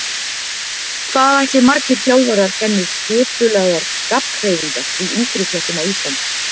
Hvað ætli margir þjálfarar kenni skipulagðar gabbhreyfingar í yngri flokkum á Íslandi?